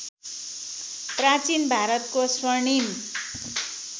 प्राचीन भारतको स्वर्णिम